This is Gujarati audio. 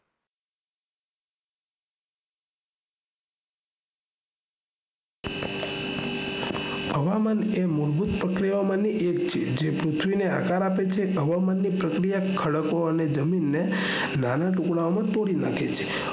હવામાન એ મૂળભૂત પ્રક્રિયા મનુ એક છે જે પૃથ્વી ને આકાર આપે છે હવામાન ની પ્રક્રિયા ખડક અને જમીન ને નાના ટુકડાઓ માં તોડી નાખે છે